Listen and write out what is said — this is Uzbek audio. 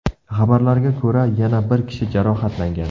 Xabarlarga ko‘ra, yana bir kishi jarohatlangan.